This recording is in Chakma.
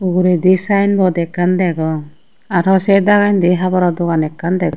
uguredi saenbot ekkan degong araw sey dagendi haboro dogan ekkan deg.